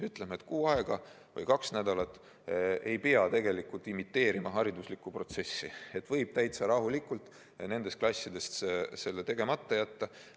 Ütleme, et kuu aega või kaks nädalat ei pea imiteerima haridusliku protsessi, võib täitsa rahulikult nendes klassides selle tegemata jätta.